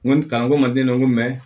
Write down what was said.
N ko ni kalan ko ma den n ko